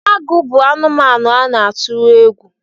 Agụ bụ anụmanụ a na-atụrụ egwu